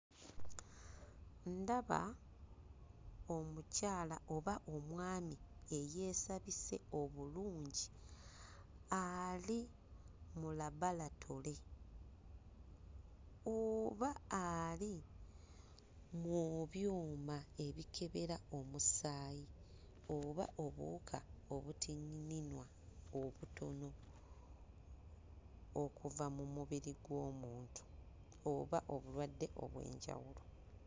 Ndaba omukyala oba omwami eyeesabise obulungi, ali mu labalatole oba ali mu byuma ebikebera omusaayi oba obuwuka obutiŋŋinnwa obutono okuva mu mubiri gw'omuntu oba obulwadde obw'enjawulo.